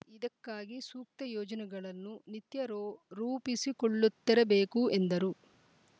ಇದಕ್ಕಾಗಿ ಸೂಕ್ತ ಯೋಜನೆಗಳನ್ನು ನಿತ್ಯ ರೊ ರೂಪಿಸಿಕೊಳ್ಳುತ್ತೆರಬೇಕು ಎಂದರು